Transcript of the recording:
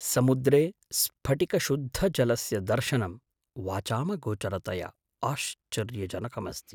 समुद्रे स्फटिकशुद्धजलस्य दर्शनं वाचामगोचरतया आश्चर्यजनकमस्ति।